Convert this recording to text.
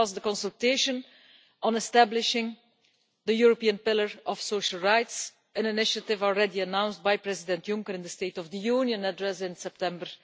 This was the consultation on establishing the European Pillar of Social Rights, an initiative already announced by President Juncker in the State of the Union address in September